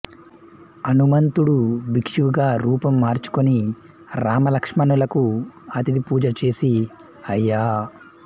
హనుమంతుడు బిక్షువుగా రూపం మార్చుకొని రామలక్ష్మణులకు అతిథి పూజ చేసి అయ్యా